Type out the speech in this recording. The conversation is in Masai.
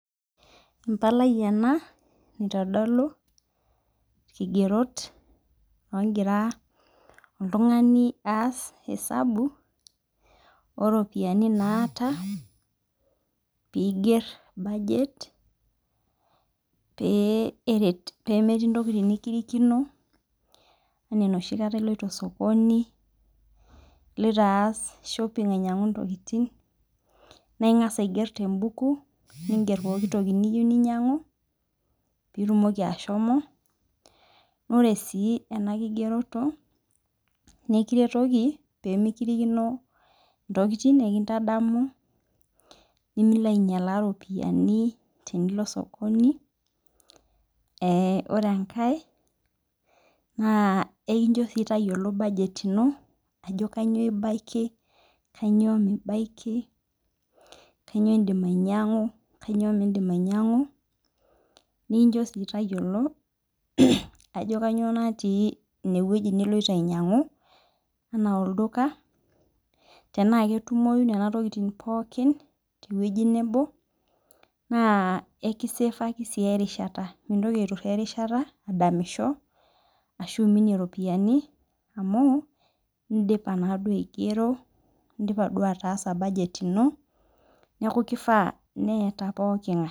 Embalai ena naitodolu nkigerot ogira oltungani aas esabu oropiyiani naata piiger budget pemetii ntokitin nikirikino ena enoshi kata iloito osokoni ingira aas shopping ainyangu ntokitin na ingasa aiger tembuku ninger pooki toki niyeu ninyangu tembuku na ore si enakigeroto na ekiretoki pemekirikino ntokitin ekintadamu pemilo ainyalaa ropiyani tenilo osokoni na ore enkae ekinjo tayoolo ajo kanyio ibaki kanyio mibaki kanyio indim ainyangu nikincho tayiolo ajo kanyio natii inewueji naloito ianyangu ana olduka tenaketumoi nona tokitin tewoi nebo mintoki aituraa erishata adamisho ashum iropiyiani amu indipa duo aigero neaku kifaa peeta pooki ngae.